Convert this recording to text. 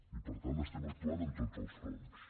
i per tant estem actuant en tots els fronts